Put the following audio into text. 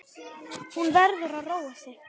Hún verður að róa sig.